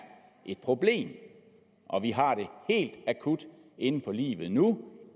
et problem og vi har det akut inde på livet nu